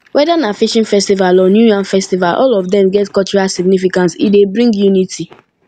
weda na fishing festival or new yam festival all of dem get cultural significance e dey bring unity